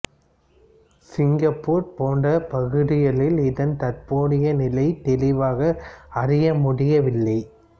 Singapore போன்ற பகுதிகளில் இதன் தற்போதைய நிலை தெளிவாக அறிய முடியவில்லை